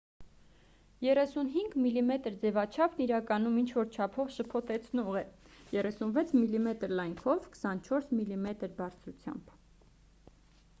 35 մմ ձևաչափն իրականում ինչ-որ չափով շփոթեցնող է 36 մմ լայնքով 24 մմ բարձրությամբ